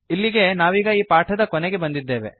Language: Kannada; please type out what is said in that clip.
ಇಲ್ಲಿಗೆ ನಾವೀಗ ಈ ಪಾಠದ ಕೊನೆಗೆ ಬಂದಿದ್ದೇವೆ